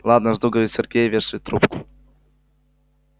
ладно жду говорит сергей и вешает трубку